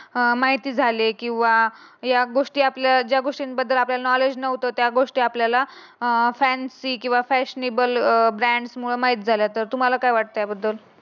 माहिती झाले किंवा या गोष्टीबद्दल ज्या गोष्टीबद्दल आपल्याला नॉलेज नव्हतं त्या गोष्टी आपल्याला अं फॅन्सी किंवा फॅशनेबल ब्रँड माहीत झालं तर तुम्हाला काय वाटते याबद्दल.